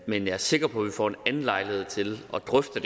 men jeg er sikker på at vi får en anden lejlighed til at drøfte